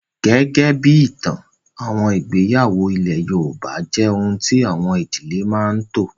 Gẹ́gẹ́ bí ìtàn, àwọn ìgbéyàwó ilé yoòbá jẹ́ ohun tí àwọn ìdílé máa n tò